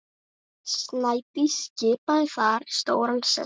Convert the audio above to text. Snædís skipaði þar stóran sess.